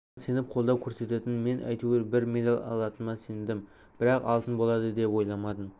маған сеніп қолдау көрсететін мен әйтеуір бір медаль алатыныма сендім бірақ алтын болады деп ойламадым